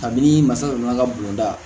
Kabini masa dɔ mana bon da